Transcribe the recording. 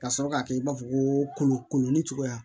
Ka sɔrɔ ka kɛ i b'a fɔ ko kolo kolo ni cogoya